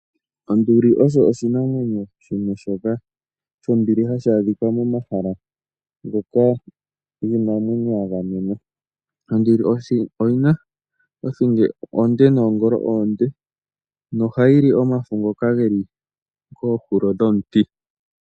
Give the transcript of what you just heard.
Onduli osho oshinamwenyo shoka hashi adhika momahala ngoka giinamwenyo ga gamenwa. Onduli oyina othingo onde oshowo oongolo oonde. Oha yili omafo ngoka haga adhika pombanda yoMiti.